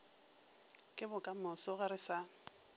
ke bokamoso ge re sa